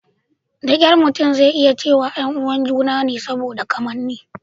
Da kyar mutum zai iya cewa 'yan uwan ​​juna ne saboda kamanni.